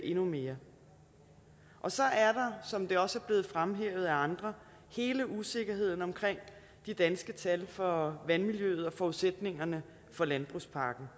endnu mere så er der som det også er blevet fremhævet af andre hele usikkerheden omkring de danske tal for vandmiljøet og forudsætningerne for landbrugspakken